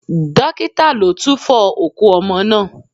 Dókítà ló túfo òkú ọmọ náà.